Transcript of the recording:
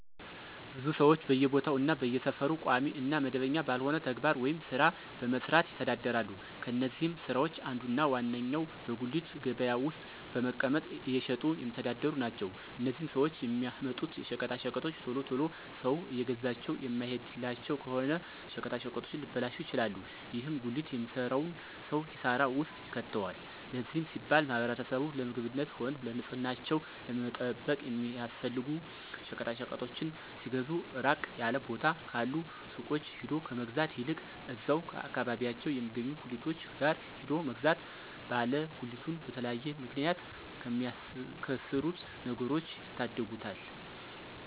ብዙ ሰወች በየቦታው እና በየሰፈሩ ቋሚ እና መደበኛ ባልሆነ ተግባር ወይም ስራ በመስራት ይተዳደራሉ። ከነዚህም ስራወች አንዱ እና ዋነኛው በጉሊት ገበያ ውስጥ በመቀመጥ እየሸጡ የሚተዳደሩ ናቸው። እነዚህም ሰወች የሚያመጡት ሸቀጣሸቀጦች ቶሎ ቶሎ ሰው እየገዛቸው የማይሄድላቸው ከሆነ ሸቀጣሸቀጡ ሊበላሹ ይችላሉ። ይህም ጉሊት የሚሰራውን ሰው ኪሳራ ውስጥ ይከተዋል። ለዚህም ሲባል ማህበረሰቡ ለምግብነትም ሆነ ንፅህናቸውን ለመጠበቅ የሚያስፈልጉ ሸቀጣሸቀጦችን ሲገዙ ራቅ ያለ ቦታ ካሉ ሱቆች ሄዶ ከመግዛት ይልቅ እዛው አከባቢያቸው የሚገኙ ጉሊቶች ጋር ሄዶ መግዛት ባለ ጉሊቱን በተለያየ ምክንያት ከሚያከስሩት ነገሮች ይታደጉታል።